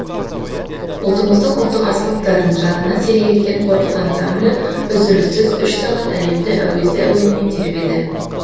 ұлтымыздың ұлттық аспаптарын жанына серік еткен қорқыт ансамблі үзіліссіз үш сағат әлемді әуезді әуенімен тербеді